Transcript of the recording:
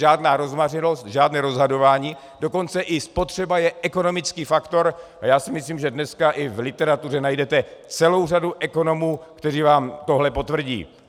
Žádná rozmařilost, žádné rozhazování, dokonce i spotřeba je ekonomický faktor, a já si myslím, že dneska i v literatuře najdete celou řadu ekonomů, kteří vám toto potvrdí.